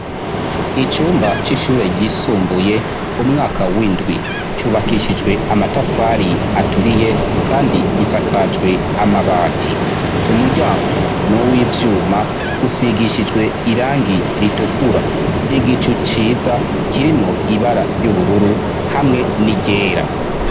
Icyumba c'ishure gisumbuye umwaka w'indwi cyubakishijwe amatafari aturiye kandi gisakajwe amabati umuryango nuw'ivyuma usigishijwe irangi ritukura igicu ciza kirimwo ibara ry'ubururu hamwe n'iryera.